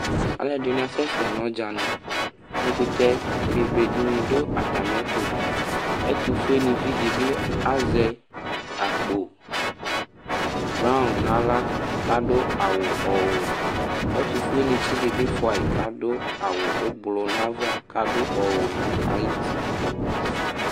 Alʋɛdɩnɩ asɛsɛ nʋ ɔdzanɩ Ɛkʋtɛ bebe dɩnɩ dʋ atamɩɛtʋ Ɛtʋfuenɩvi dɩ bɩ azɛ akpo braɔn nʋ aɣla kʋ adʋ awʋ ɔwɛ Ɛtʋfuenɩtsɩ dɩ bɩ fʋa yɩ kʋ adʋ awʋ ʋblʋ nʋ ava kʋ adʋ ɔwɛ nʋ ayuti